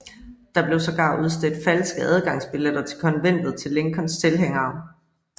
Der blev sågar udstedt falske adgangsbilletter til konventet til Lincolns tilhængere